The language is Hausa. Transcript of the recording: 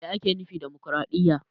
Me ake nufi da dimokraɗiya?